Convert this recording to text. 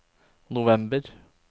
november